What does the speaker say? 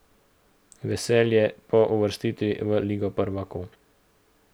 Veselje po uvrstitvi v ligo prvakov.